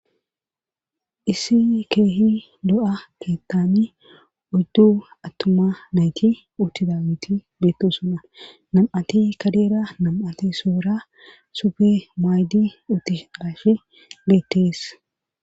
Issi keehi lo'a keettani uddu attuma nayti uttida miti beetusuna nam'ati kadeera nam'ati soura sufe maaydi utti alafi beettees